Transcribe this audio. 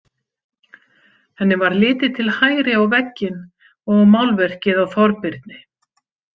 Henni varð litið til hægri á vegginn og málverkið af Þorbirni.